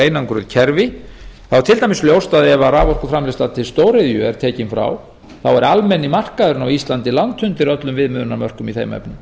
einangruð kerfi þá er til dæmis ljóst ef raforkuframleiðsla til stóriðju er tekin frá þá er almenni markaðurinn á íslandi langt undir öllum viðmiðunarmörkum í þeim efnum